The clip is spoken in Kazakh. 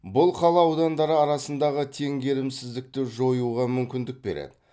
бұл қала аудандары арасындағы теңгерімсіздікті жоюға мүмкіндік береді